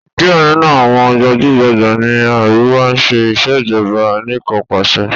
Díẹ̀ nínú àwọn gbajúgbajà ní àríwá ń ṣe Ìṣèjọ́ba aníkanpàṣẹ